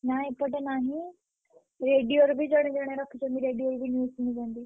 ନା ଏପଟେ ନାହିଁ। radio ରେ ବି ଜଣେ ଜଣେ ରଖିଛନ୍ତି radio ରେ ବି news ଶୁଣୁଛନ୍ତି।